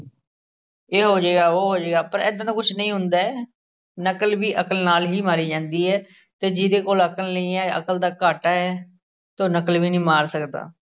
ਇਹ ਹੋਜੇਗਾ ਉਹ ਹੋਜੇਗਾ ਪਰ ਏਦਾਂ ਦਾ ਕੁਝ ਨਈ ਹੁੰਦਾ ਹੈ ਨਕਲ ਵੀ ਅੱਕਲ ਨਾਲ ਹੀ ਮਾਰੀ ਜਾਂਦੀ ਹੈ ਅਤੇ ਜਿਹਦੇ ਕੋਲ ਅਕਲ ਨਹੀਂ ਹੈ, ਅਕਲ ਦਾ ਘਾਟਾ ਹੈ ਤਾਂ ਉਹ ਨਕਲ ਵੀ ਨੀ ਮਾਰ ਸਕਦਾ।